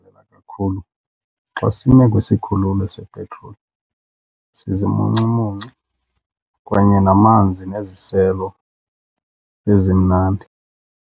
kakhulu xa sime kwisikhululo sepetroli zizimuncumuncu kanye namanzi neziselo ezimnandi.